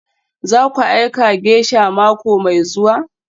Zaku aika geisha mako mai zuwa?